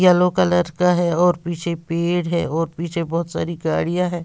Yellow colour का है और पीछे पेड़ हैं और पीछे बहुत सारी गाड़ियाँ हैं।